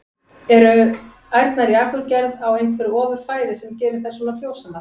En eru ærnar í Akurgerð á einhverju ofur fæði sem gerir þær svona frjósamar?